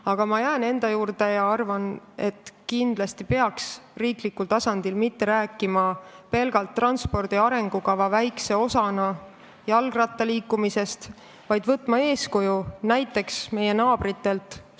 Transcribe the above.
Aga ma jään enda juurde ja arvan, et riiklikul tasandil ei peaks mitte rääkima jalgrattaga liikumisest kui pelgalt transpordi arengukava väiksest osast, vaid võtma eeskuju näiteks meie naabritelt.